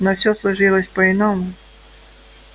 но все сложилось по иному